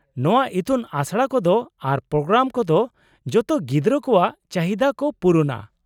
-ᱱᱚᱶᱟ ᱤᱛᱩᱱ ᱟᱥᱲᱟ ᱠᱚᱫᱚ ᱟᱨ ᱯᱨᱳᱜᱨᱟᱢ ᱠᱚᱫᱚ ᱡᱚᱛᱚ ᱜᱤᱫᱽᱨᱟᱹ ᱠᱚᱣᱟᱜ ᱪᱟᱹᱦᱤᱫᱟ ᱠᱚ ᱯᱩᱨᱩᱱᱼᱟ ᱾